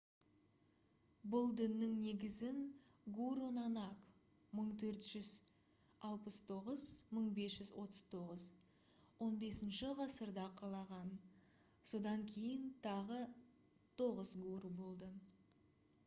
бұл діннің негізін гуру нанак 1469-1539 15-ші ғасырда қалаған. содан кейін тағы 9 гуру болды